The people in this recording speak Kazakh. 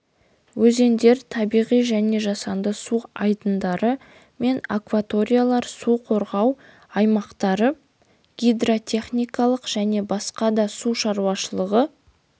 өзендер табиғи және жасанды су айдындары мен акваториялар су қорғау аймақтары гидротехникалық және басқа да су шаруашылығы